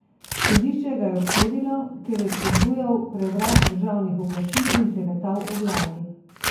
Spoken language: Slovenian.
Sodišče ga je obsodilo, ker je spodbujal prevrat državnih oblasti in klevetal o vladi.